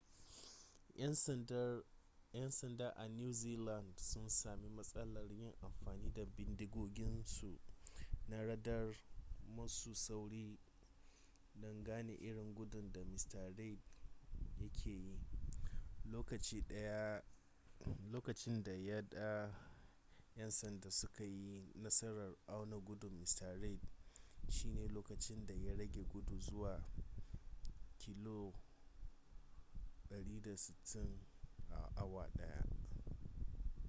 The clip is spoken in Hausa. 'yan sanda a new zealand sun sami matsalar yin amfani da bindigoginsu na radar masu sauri don gane irin gudun da mr reid ya ke yi lokaci daya da yan sandan suka yi nasarar auna gudun mr reid shine lokacin da ya rage gudu zuwa 160km / h